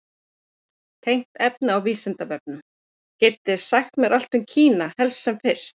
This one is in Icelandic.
Tengt efni á Vísindavefnum: Getið þið sagt mér allt um Kína, helst sem fyrst?